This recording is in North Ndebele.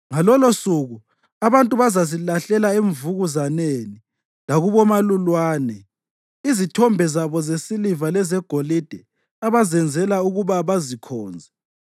Ngalolosuku abantu bazazilahlela emvukuzaneni lakubomalulwane izithombe zabo zesiliva lezegolide abazenzela ukuba bazikhonze.